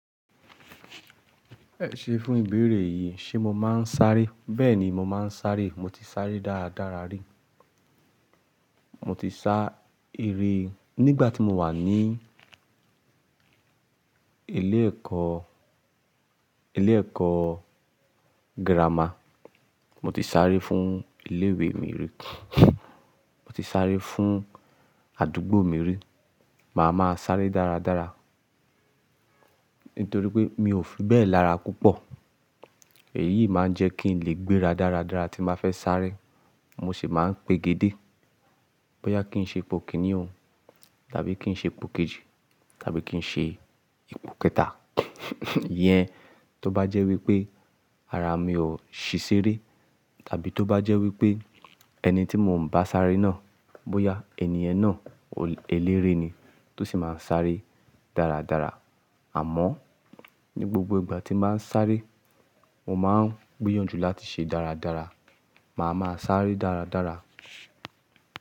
Ẹ̀ṣe fún ìbéèrè yìí, ṣe mo máa ń sáré? Bẹ́ẹ̀ni, mo máa ń sáré. Mo ti sáré dára dára rí. Mo ti sá eré nígbà tí mo wà ní ilé ẹ̀kọ́, ilé ẹ̀kọ́ gírámà. Mo ti sáré fún ilé ìwé mi rí. Mo ti sáré fún àdúgbò mi rí. Màá ma sáré dára dára. Nítorí pé mi ò fi bẹ́ẹ̀ lára púpọ̀. Èyí máa ń jẹ́ kí n lè gbéra dára dára tí máa fẹ́ sáré. Mo sì máa ń pegedé bóyá kí n ṣe ipò kìnní o tàbí kí n ṣe ipò kejì tàbí kí n ṣe ipò kẹta. Yẹn tó bá jẹ́ wípé ara mi ò ṣí ṣeré tàbí tó bá jẹ́ wípé ẹni tí mò ń bá sárẹ́ náà, bóyá ènìyàn náà olórí eléré ni tó sì máa ń sáré dára dára. Àmọ́ ní gbogbo ìgbà tí mbá ń sáré, mo máa ń gbìyànjú láti ṣe dára dára. Màá ma sáré dára dára.